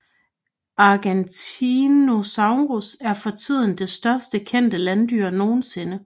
Argentinosaurus er for tiden det største kendte landdyr nogensinde